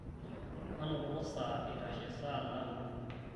manototo saa eitashe saa naudo